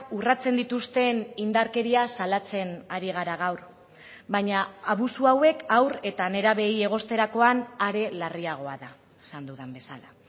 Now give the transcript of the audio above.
urratzen dituzten indarkeria salatzen ari gara gaur baina abusu hauek haur eta nerabeei egosterakoan are larriagoa da esan dudan bezala